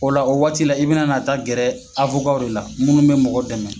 O la o waati la i bɛna na taa gɛrɛ de la minnu bɛ mɔgɔ dɛmɛ.